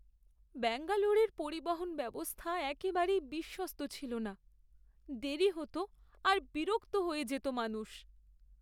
ব্যাঙ্গালোরের পরিবহন ব্যবস্থা একেবারেই বিশ্বস্ত ছিল না, দেরী হত আর বিরক্ত হয়ে যেত মানুষ।